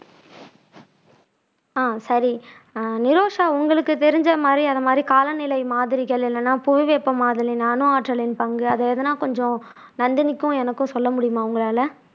அஹ் சரி நிரோஷா உங்களுக்கு தெரிஞ்ச மாதிரி அந்த மாதிரி காலநிலை மாதிரிகள் இல்லன்னா புவி வெப்பமாதலில் அணு ஆற்றலின் பங்கு அது எதனா கொஞ்சம் நந்தினிக்கும் எனக்கும் சொல்ல முடியுமா உங்களால